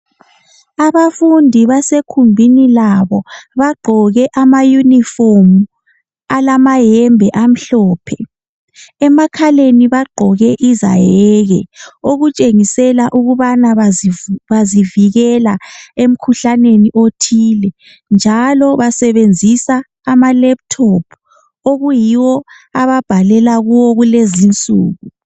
Abafundi basekhumbini labo bagqoke amayunifomu alamayembe amhlophe emakhaleni bagqoke izayeke okutshengisela ukubana bazivikela emkhuhlaneni othile njalo basebenzisa amalaptop okuyiwo ababhalela kiwo kulezinsuku.